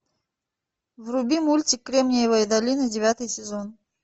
вруби мультик кремниевая долина девятый сезон